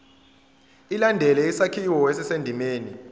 ilandele isakhiwo esisendimeni